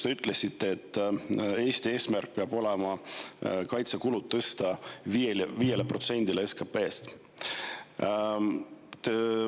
Te ütlesite, et Eesti eesmärk peab olema kaitsekulud tõsta 5%-le SKP-st.